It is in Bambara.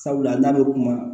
Sabula n'a bɛ kuma